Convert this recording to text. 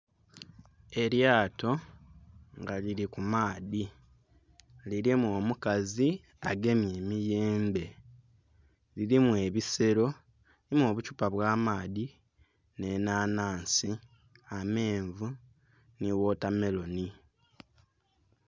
Elyato nga lili ku maadhi. Lilimu omukazi agemye emiyembe. Lilimu ebiselo, mulimu obukyupa obw'amaadhi, nh'enhanhansi, amenvu nhi wotameloni.